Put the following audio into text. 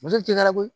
Muso tɛ gara